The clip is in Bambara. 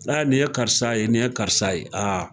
Aa nin ye karisa ye nin ye karisa ye aa